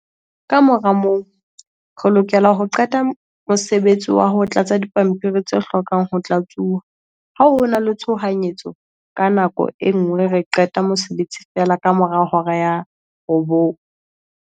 "Kamora moo, re lokela ho qeta ka mosebetsi wa ho tlatsa dipampiri tse hlokang ho tlatsuwa. Ha ho na le tshohanyetso ka nako e nngwe re qeta mosebetsi feela kamora hora ya 21:00."